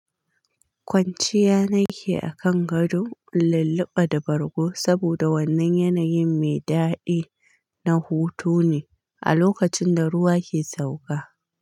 Kwanciya nake akan gado, lulluɓa da bargo saboda wannan yanayin mai daɗi na hutu ne a lokacin da ruwa ke sauka.